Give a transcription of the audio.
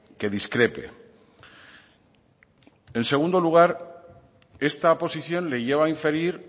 que discrepe en segundo lugar esta posición le lleva a inferir